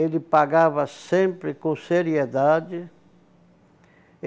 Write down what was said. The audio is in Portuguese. Ele pagava sempre com seriedade.